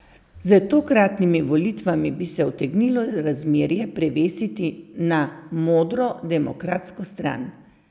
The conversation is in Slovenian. Z tokratnimi volitvami bi se utegnilo razmerje prevesiti na modro, demokratsko stran.